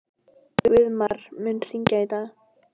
Guðmar, mun rigna í dag?